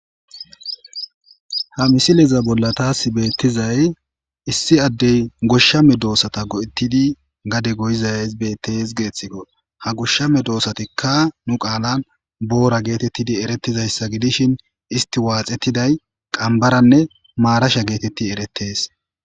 Ha misileza bolla taasi beetizay issi adde goshsha meedosata go'etidi gade gayizayssi geetikko . Ha goshsha meedoosattikka nu qaalan boora geetidi eretizayssata gidishin isti waaxetiday qanbbaranne maarasha geeteti eretees.